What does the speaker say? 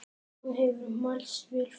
Það hefur mælst vel fyrir.